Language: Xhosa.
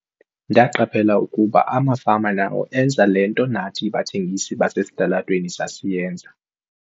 "Ndaqaphela ukuba amafama nawo enza le nto nathi bathengisi basesitalatweni sasiyenza."